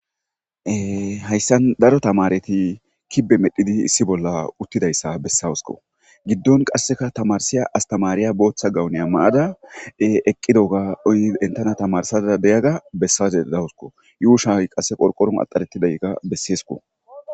Haysan daro tamareti kibe medhidi issi bolla utidaysa besawusko, qase gidon issi astamariya gawune mayada eqidoga enta tamarisayda de'iyoga besaza dawusiko, yuushayi qase qorqoron axaretidayka besesko.